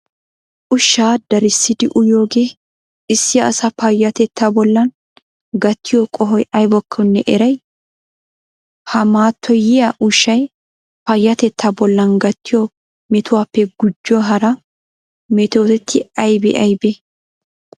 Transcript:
Ushshaa darissidi uyiyoogee issi asaa payyatettaa bollan gattiyo qohoy aybakkonne eray? Ha mattoyiya ushshay payyatettaa bollan gattiyo metuwappe gujo hara metoti aybee aybee?